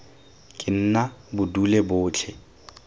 ke nna bo dule botlhe